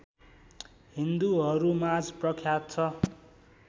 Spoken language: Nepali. हिन्दूहरूमाझ प्रख्यात छ